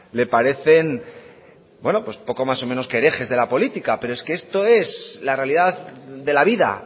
le parecen poco más o menos que herejes de la política pero es que esto es la realidad de la vida